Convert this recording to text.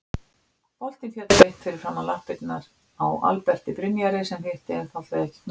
Boltinn féll beint fyrir framan lappirnar á Alberti Brynjari sem hitti einfaldlega ekki knöttinn.